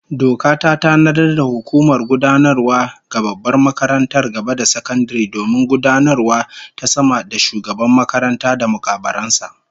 Doka ta tanadar da hukumar gudanarwa ga babbar makarantar gaba da sakandare domin gudanarwavta sama da Shugaban makaranta da mukarraban sa